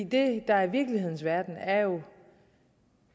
det der er virkeligheden er jo